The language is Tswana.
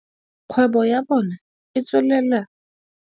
Kgwebo ya bona e tswelela.